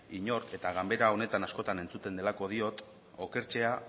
inor eta ganbara honetan askotan entzuten delako diot okertzea